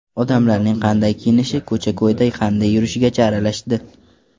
Odamlarning qanday kiyinishi, ko‘cha-ko‘yda qanday yurishigacha aralashdi.